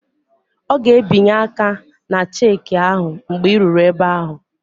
Ọ ga-ebinye aka ná cheeki ahụ mgbe ị ruru ebe ahụ